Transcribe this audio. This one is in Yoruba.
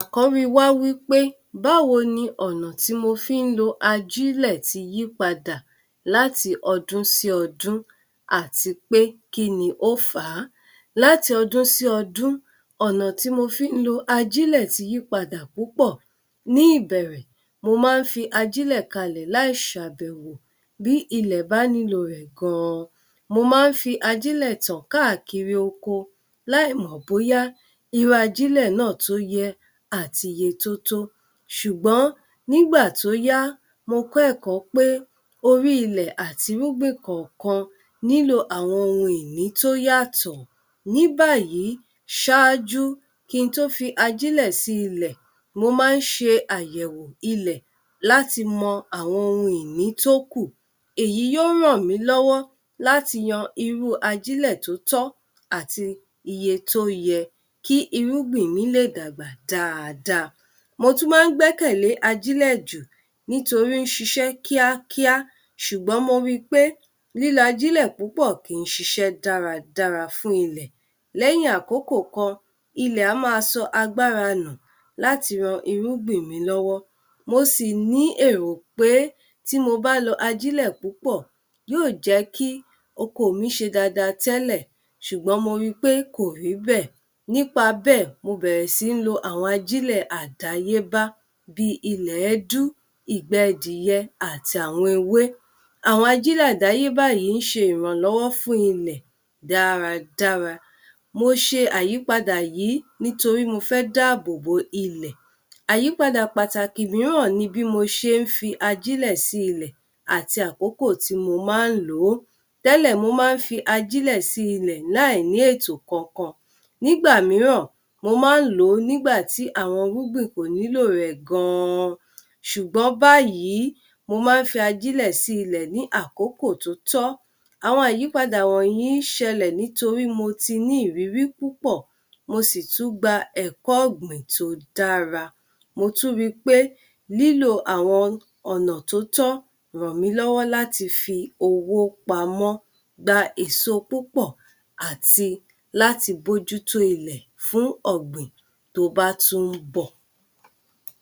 Àkọ́rí wa wípé báwo ní ọ̀nà tí mo fi ń lo ajílẹ̀ ti yí padà láti ọdún sí ọdún àti pé kíni ó fà á? Làti ọdún sí ọdún, ọ̀nà tí mo fi ń lo ajílẹ̀ tí yí padà púpọ̀ ní ìbẹ̀rẹ̀ mo má ń fi ajílẹ̀ kalẹ̀ láì ṣàbẹ̀wò bí ilẹ̀ bá nílò rẹ̀ gan-an. Mo má ń fi ajílẹ̀ tán káàkiri oko láì mọ̀ bóyá irú ajílẹ̀ náà tó yẹ àti iye tótó, ṣùgbọ́n nígbà tó yá, mo kọ́ ẹ̀kọ́ pé orí ilẹ̀ àti irúgbìn kọ̀ọ̀kan nílò àwọn ohun ìní tó yàtọ̀, ní báyìí, sáájú, kí ń tó fi ajílẹ̀ sí ilẹ̀, mo ma ń ṣe àyẹ̀wò ilẹ̀ láti mọ àwọn ohun ìní tó kù èyí yóò ràn mí lọ́wọ́ láti yan irú ajílẹ̀ tó tọ́ àti iye tó yẹ kí irúgbìn mi lè dàgbà dáadáa. Mo tún ma ń gbẹ́kẹ̀lé ajílẹ̀ jù nítorí ó ń ṣiṣẹ́ kíákíá ṣùgbọ́n mo ri pé lílo ajílẹ̀ púpọ̀ kì ń ṣíṣe dáradára fún ilẹ̀. Lẹ́yìn àkókò kan, ilẹ̀ á má a sọ agbára nù láti ran irúgbìn mi lọ́wọ́ mo sì ní èrò pé tí mo bá lọ ajílẹ̀ púpọ̀ yóò jẹ́ kí oko mi ṣe dáadáa tẹ́lẹ̀. sùgbọ́n mo rí pé kò rí bẹ́ẹ̀ nípa bẹ́ẹ̀, mo bẹ̀rẹ̀ sí ń lo àwọn ajílẹ̀ àdááyé bá bíi liẹ̀dú. ìgbẹ́ àti àwọn ewé. Àwọn ajílẹ̀ àdáyébá yìí ń ṣe ìrànlọ́wọ́ fún ilẹ̀ dáradára. Mo ṣe àyípadà yìí nítorí mo fẹ́ dá àbò bo ilẹ̀. Àyípadà pàtàkì mìíràn ní bí mo ṣe ń fi ajílẹ̀ sí ilẹ̀ àti àkókò tí mo ma ń lòó, tẹ́lẹ̀ mo má ń fi ajílẹ̀ sí ilẹ̀ láì ní ètò kankan, nígbà mìíràn mo ma ń lòó nígbàtí àwọn irúgbìn kò nílò rè gan-an. Ṣùgbọ́n báyìí mo ma ń fi ajílẹ̀ sí ilẹ̀ ní àkókò tóótọ́. Àwọn àyípadà wọnyìí ń ṣẹlẹ̀ nítorí mo tí ní ìrírí púpọ̀, mo ṣì tún gba ẹ̀kọ́ ọ̀gbìn tó dára, mo tún ri pé lílò àwọn ọnà tó tọ́ ràn mí lọ́wọ́ láti fi owó pamọ́, gba èso púpọ̀ àti láti bójútó ilẹ̀ fún ọ̀gbìn tó bá tún ń bọ̀